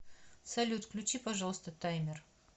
салют включи пожалуйста таймер